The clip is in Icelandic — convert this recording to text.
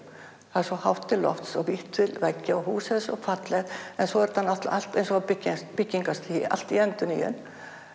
það er svo hátt til lofts og vítt til veggja og húsið er svo fallegt en svo er þetta náttúrulega allt eins og á byggingarstigi allt í endurnýjun